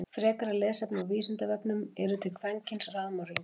Frekara lesefni á Vísindavefnum: Eru til kvenkyns raðmorðingjar?